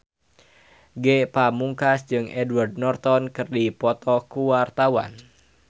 Ge Pamungkas jeung Edward Norton keur dipoto ku wartawan